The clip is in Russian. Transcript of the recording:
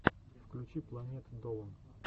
включи планет долан